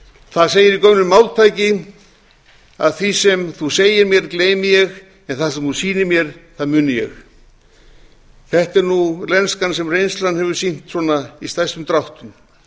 það segir í gömlu máltæki að því sem þú segir mér gleymi ég en það sem þú sýnir mér muni ég þetta er nú lenskan sem reynslan hefur sýnt svona í stærstum dráttum